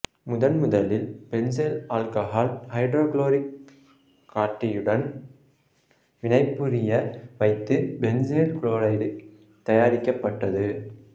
முதன் முதலில் benzyl alcohol ஐதரோகுளோரிக் காடியுடன் வினைபுரிய வைத்து பென்சைல் குளோரைடு தயாரிக்கப்பட்டது